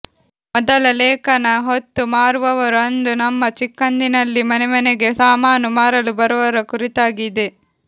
ಮೊದಲ ಲೇಖನ ಹೊತ್ತು ಮಾರುವವರು ಅಂದು ನಮ್ಮ ಚಿಕ್ಕಂದಿನಲ್ಲಿ ಮನೆಮನೆಗೆ ಸಾಮಾನು ಮಾರಲು ಬರುವವರ ಕುರಿತಾಗಿ ಇದೆ